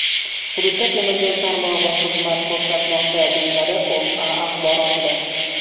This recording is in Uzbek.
Hududda temir yo‘l tarmog‘i xizmat ko‘rsatmoqda”, deyiladi O‘zA axborotida.